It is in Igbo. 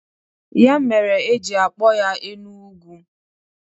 Ya mere e ji akpọ ya Enu-Ugwu.